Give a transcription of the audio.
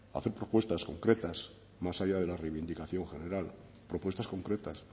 hacer propuestas concretas más allá de la reivindicación general propuestas concretas